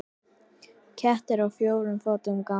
Kettir á fjórum fótum ganga.